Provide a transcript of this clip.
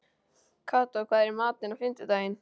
Kató, hvað er í matinn á fimmtudaginn?